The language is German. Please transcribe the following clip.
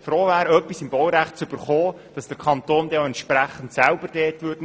froh wäre, ein Grundstück im Baurecht zu erhalten und sich der Kanton von sich aus entgegenkommend zeigen würde.